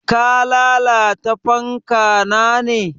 Ka lalata fanka na ne?